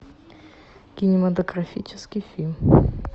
кинематографический фильм